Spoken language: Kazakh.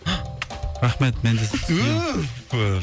рахмет мен де сізді сүйемін